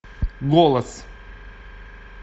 голос